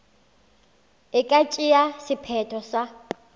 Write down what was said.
e ka tšea sephetho sa